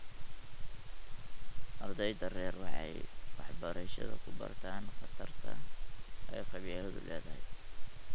Ardeyda rer waxay waxbarshada ku bartaan khatarta ay qabyaaladdu leedahay.